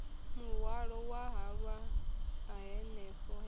muhwalo wa halwa hanefho he